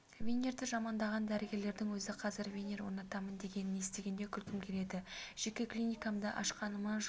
винирды жамандаған дәрігерлердің өзі қазір винир орнатамын дегенін естігенде күлкім келеді жеке клиникамды ашқаныма жыл